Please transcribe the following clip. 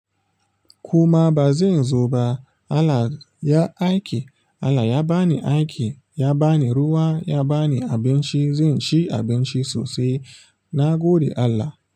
Kuma ba zan zo ba. Allah ya aiki allah ya ba ni aiki ya bani ruwa ya bani abinci zan ci abinci sosai. Na gode Allah.